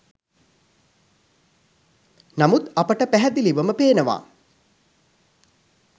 නමුත් අපට පැහැදිලිවම පේනවා